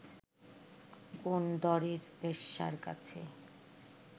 কোন দরের বেশ্যার কাছে